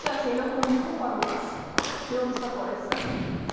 сейчас я леху уебу пару раз и он успокоится